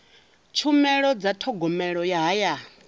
tshumelo dza thogomelo ya hayani